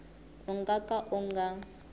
u nga ka u nga